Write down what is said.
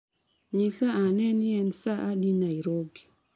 nyisa ane ni en saa adi nairobi.